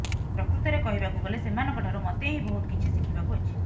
ପ୍ରକୃତରେ କହିବାକୁ ଗଲେ ସେମାନଙ୍କ ଠାରୁ ମତେ ହି ବହୁତ କିଛି ଶିଖିବାକୁ ଅଛି